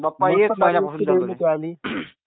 is not Clear